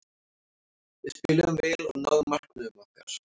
Við spiluðum vel og náðum markmiðum okkar.